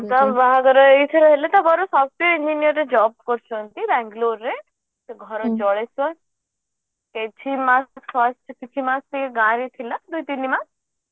ତା ବାହାଘର software engineer ରେ job କରୁଛନ୍ତି ବାଂଲୋର ରେ ସେ ଘରେ ଜଳଖିଆ କିଛି ମାସ first କିଛି ମାସ ସିଏ ଗାଁ ରେ ଥିଲା ଦୁଇ ତିନିମାସ